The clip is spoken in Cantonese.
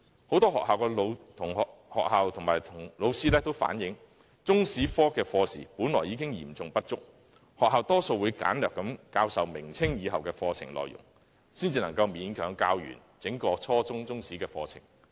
很多學校和老師均反映，中史科的課時本來已經嚴重不足，學校多數只簡略教授明朝及清朝以後的課程內容，才能勉強完成教授整個初中中史課程。